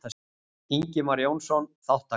Ingimar Jónsson: Þátttaka.